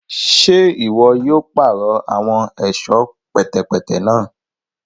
Ṣe iwọ yóò parọ awọn ẹṣọ pẹtẹpẹtẹ náà?